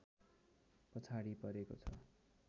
पछाडि परेको छ